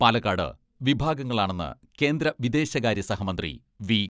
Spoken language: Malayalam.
പാലക്കാട് വിഭാഗങ്ങളാണെന്ന് കേന്ദ്ര വിദേശകാര്യ സഹമന്ത്രി വി.